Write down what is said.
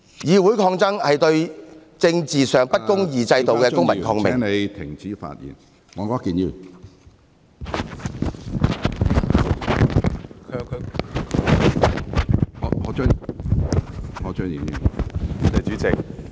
議會抗爭是對政治上不公義制度的公民抗命......